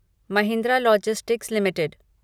Mahindra logistics limited